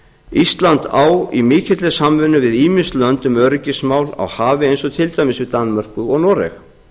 ísland á í mikilli samvinnu við ýmis lönd um öryggismál á hafi eins og til dæmis við danmörku og noreg